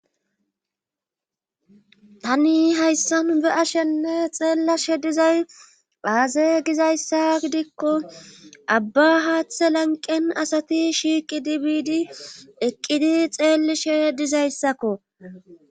Tani hayssan be7a shenne xeellashe dizay phaaze gizayssa gidikko abba haaththe lanqen asati shiiqidi biidi eqqidi xeelishe dizayssakko